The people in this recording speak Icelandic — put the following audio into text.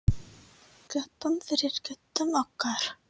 Klöppum fyrir köttum okkar!